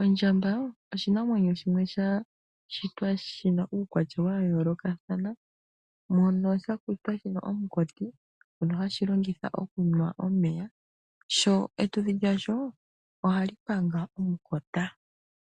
Ondjamba oshinamwenyo shimwe sha shitwa shi na uukwatya wayolokathana mono sha shitwa shina omunkoti ngono hashi longitha okunwa omeya. Sho etudhi lyasho oha li panga omukota.